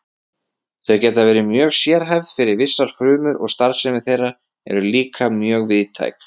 Þau geta verið mjög sérhæfð fyrir vissar frumur og starfsemi þeirra er líka mjög víðtæk.